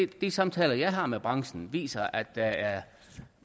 de samtaler jeg har med branchen viser at der er